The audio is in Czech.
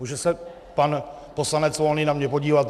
Může se pan poslanec Volný na mě podívat?